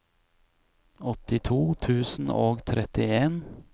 åttito tusen og trettien